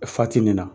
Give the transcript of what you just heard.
Fati nin na